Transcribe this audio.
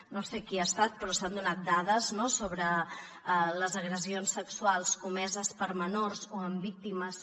no sé qui ha estat però s’han donat dades sobre les agressions sexuals comeses per menors o amb víctimes